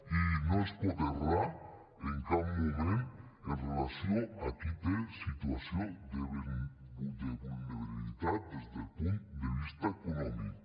i no es pot errar en cap moment amb relació a qui té situació de vulnerabilitat des del punt de vista econòmic